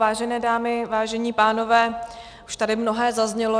Vážené dámy, vážení pánové, už tady mnohé zaznělo.